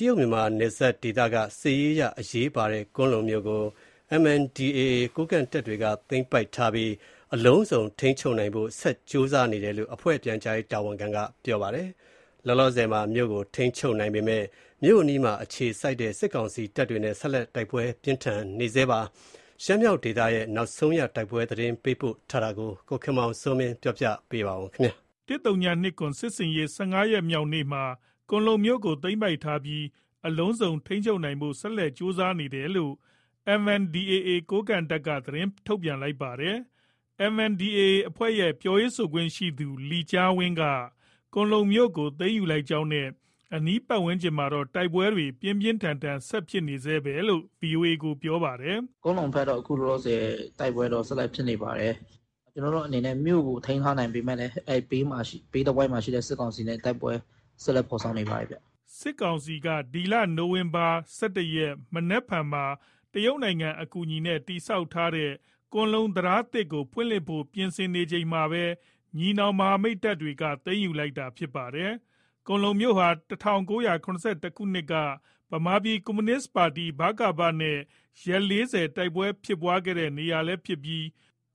တရုတ်- မြန်မာနယ်စပ်ဒေသက စစ်ရေးအရ အရေးပါတဲ့ ကွမ်းလုံမြို့ကို MNDAA ကိုးကန့်တပ်တွေက သိမ်းပိုက်ထားပြီး အလုံးစုံ ထိန်းချုပ်နိုင်ဖို့ ဆက်လက်ကြိုးစားနေတယ်လို့ အဖွဲ့ ပြန်ကြားရေးတာဝန်ခံက ပြောပါတယ်။ လောလောဆည်မှာ မြို့ကို ထိန်းချုပ်နိုင်ပေမဲ့ မြို့အနီးမှာ အခြေစိုက်တဲ့ စစ်ကောင်စီတပ်တွေနဲ့ ဆက်လက် တိုက်ပွဲပြင်းထန်နေဆဲပါ။ ရှမ်းမြောက်ဒေသ ရဲ့နောက်ဆုံးရ တိုက်ပွဲသတင်းပေးပို့ထားတာကို ကိုခင်မောင်စိုးမင်းက တင်ပြပေးမှာပါ။ ၁၀၂၇ စစ်ဆင်ရေး ၁၅ ရက်မြောက်နေ့မှာ ကွမ်းလုံမြို့ကို သိမ်းပိုက်ထားပြီး အလုံးစုံ ထိန်းချုပ်နိုင်ဖို့ဆက်လက်ကြိုးစားနေတယ်လို့ MNDAA ကိုးကန့်တပ်က သတင်းထုတ်ပြန်လိုက်တာပါ။ MNDAA အဖွဲ့ရဲ့ ပြောရေးဆိုခွင့်ရှိသူ လီကျားဝင်းက ကွမ်းလုံမြို့ကိုသိမ်းယူလိုက်ကြောင်းနဲ့ အနီးပတ်ဝန်းကျင်မှာတော့ တိုက်ပွဲတွေ ပြင်းပြင်းထန်ထန် ဆက်ဖြစ်နေဆဲပဲလို့ VOA ကို ပြောပါတယ်။ “ ကွမ်းလုံဘက်တော့ အခုလောလောဆည် တိုက်ပွဲတော့ ဆက်တိုက်ဖြစ်နေပါတယ်။ ကျနော်တို့ အနေနဲ့ မြို့ကို ထိန်းထားနိုင်ပေမဲ့လည်း ဘေးတဝိုက်မှာရှိတဲ့ စစ်ကောင်စီနဲ့တိုက်ပွဲတွေ ဆက်လက် ဖော်ဆောင်နေပါတယ်ဗျ။ ” စစ်ကောင်စီက မနက်ဖန် ဒီဇင်ဘာ ၁၁ရက် နေ့မှာ တရုတ်နိုင်ငံ အကူအညီနဲ့ တည်ဆောက်တဲ့ ကွမ်းလုံ တံတားသစ် ကိုဖွင့်လှစ်ဖို့ ပြင်ဆင်နေချိန်မှာပဲ ညီနောင်မဟာမိတ်တွေက သိမ်းယူလိုက်တာလည်း ဖြစ်ပါတယ်။ ကွမ်းလုံမြို့ဟာ ၁၉၇၁ ခုနှစ်က ဗမာပြည်ကွန်မြူနစ်ပါတီနဲ့ ရက် ၄၀ တိုက်ပွဲဖြစ်ပွားခဲ့ရတဲ့ နေရာလည်း ဖြစ်ပြီး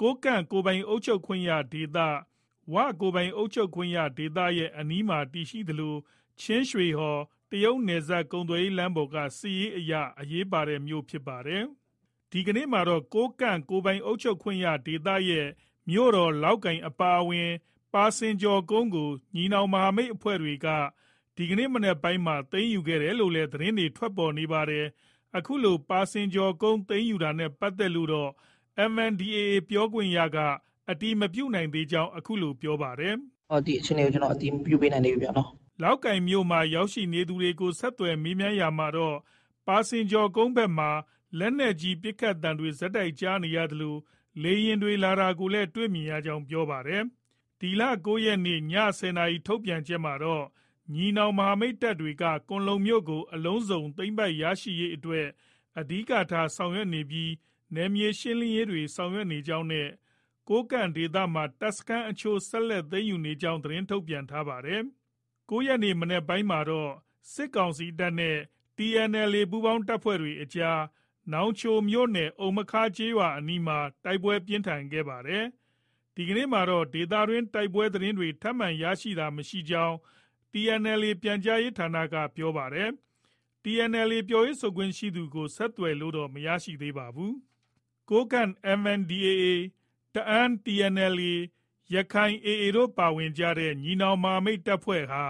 ကိုးကန့်ကိုယ်ပိုင်အုပ်ချုပ်ခွင့်ရဒေသ၊ ဝကိုယ်ပိုင်အုပ်ချုပ်ခွင့်ရ တိုင်းတို့ရဲ့ အနီးမှာတည်ရှိသလို ချင်းရွှေဟော် တရုတ်နယ်စပ်ကုန်သွယ်ရေး လမ်းကြောင်းပေါ်က စစ်ရေးအရ အရေးပါတဲ့မြို့ဖြစ်ပါတယ်။ ဒီကနေ့မှာတော့ ကိုးကန့်ကိုယ်ပိုင်အုပ်ချုပ်ခွင့်ရဒေသရဲ့ မြို့တော်လောက်ကိုင်အဝင်မှာရှိတဲ့ ပါစင်ကျော်ကုန်းကို ညီနောင်မဟာမိတ်အဖွဲ့တွေက ဒီမနက်ပိုင်းမှာ သိမ်းယူလိုက်တယ်လို့လည်း သတင်းတွေ ထွက်ပေါ်နေပါတယ်။ အခုလို ပါစင်ကျော်ကို သိမ်းယူတာနဲ့ပတ်သက်လို့တော့ MNDAA ပြောခွင့်ရသူက အတည်မပြုနိုင်သေးကြောင်း အခုလို ပြောပါတယ်။ “ ဒီအခြေအနေကို ကျနော် အတည်ပြုမပေးနိုင်သေးဘူးဗျ..နော။ ” လောက်ကိုင်မြို့မှာ ရောက်ရှိနေသူတွေကို ဆက်သွယ်မေးမြန်းရာမှာတော့ ပါစင်ကျော်ဘက်မှာ လက်နက်ကြီး ပစ်ခတ်သံတွေ ဆက်တိုက်ကြား နေရသလို စစ်လေယာဉ်တွေ လာတာကိုလည်း တွေ့မြင်ရကြောင်း ပြောပါတယ်။ ဒီလ ၉ရက် နေ့ ည ၁၀နာရီ ထုတ်ပြန်ချက်မှာတော့ ညီနောင်မဟာမိတ်တပ်တွေဟာ ကွမ်းလုံမြို့ကို အလုံးစုံသိမ်းပိုက်ရရှိရေး အတွက် အဓိကထားဆောင်ရွက်နေပြီး နယ်မြေရှင်းလင်းရေးတွေ ဆောင်ရွက်နေကြောင်း နဲ့ ကိုးကန့်ဒေသမှာ တပ်စခန်းအချို့ ဆက်လက် သိမ်းယူရရှိကြောင်း သတင်းထုတ်ပြန်ထားတာဖြစ်ပါတယ်။ ၉ ရက်နေ့မနက်ပိုင်းမှာတော့ စစ်ကောင်စီတပ်နဲ့ TNLA ပူးပေါင်းတပ်တွေအကြား နောင်ချိုမြို့နယ် အုမ္မခါးရွာ အနီးမှာ တိုက်ပွဲပြင်းထန်ခဲ့ပါတယ်။ ဒီကနေ့မှာတော့ ဒေသတွင်းတိုက်ပွဲသတင်းတွေ ထပ်မံရရှိတာ မရှိသေးကြောင်း TNLA ပြန်ကြားရေးဌာနက ပြောဆိုပါတယ်။ TNLA ပြောရေးဆိုခွင့်ရှိသူ ကိုတော့ ဆက်သွယ်လို့ မရခဲ့ပါဘူး။ ကိုးကန့် MNDAA ၊ တအာင်း TNLA၊ ရက္ခိုင် AA တို့ပါဝင်တဲ့ ညီနောင်မဟာမိတ်အဖွဲ့ဟာ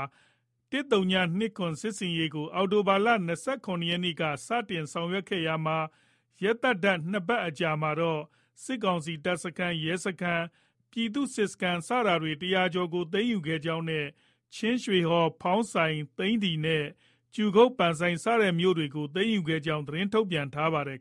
၁၀၂၇ စစ်ဆင်ရေးကို အောက်တိုဘာလ ၂၇ရက်နေ့စတင်ပြီးဆောင်ရွက်ခဲ့ရာမှာ ရက်သတ္တ ၂ပတ်ခန့်အကြာ မှာတော့ စစ်ကောင်စီတပ်စခန်း၊ ရဲစခန်း၊ ပြည်သူ့စစ်စခန်း ၁၂၀ ကျော်ကို သိမ်းယူခဲ့ကြောင်းနဲ့ ချင်းရွှေဟော်၊ ဖောင်းဆိုင်၊ သိန္နီနဲ့ ကြူကုတ် စတဲ့မြို့တွေကို သိမ်းယူခဲ့ကြောင်း သတင်း ထုတ်ပြန်ထားပါတယ်